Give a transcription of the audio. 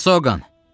Xrisoqan!